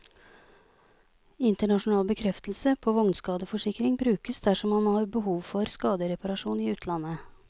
Internasjonal bekreftelse på vognskadeforsikring brukes dersom man har behov for skadereparasjon i utlandet.